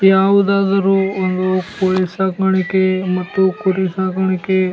ಯಾವ್ದಾದ್ರು ಒಂದು ಕೋಳಿ ಸ್ಟಾಕ್ ಮಾಡಕ್ಕೆ ಮತ್ತು ಕುರಿ ಸಾಗಾಣಿಕೆ --